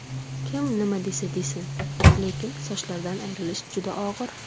Kim nima desa desin, lekin sochlardan ayrilish juda og‘ir.